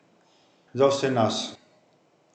Za vse nas.